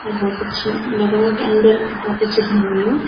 और बहौत अच्छू लगणू की अंदर बहौत अच्छू घर होलू।